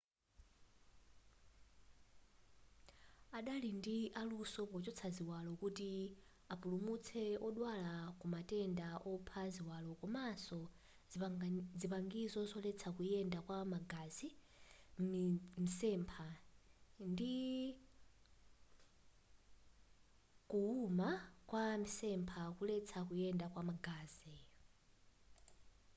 adali ndi aluso pochotsa ziwalo kuti apulumutse odwala kumatenda opha ziwalo komanso zipangizo zoletsa kuyenda kwa magazi m'mitsempha ndi kuwuma kwa mitsempha kuletsa kuyenda kwa magazi